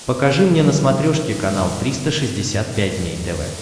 покажи мне на смотрешке канал триста шестьдесят пять дней тв